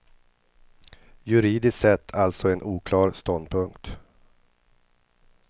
Juridiskt sett alltså en oklar ståndpunkt.